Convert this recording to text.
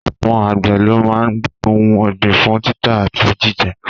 Àwọn àgbẹ̀ ló máa ń gbé ohun ọ̀gbìn fún títà àti jíjẹ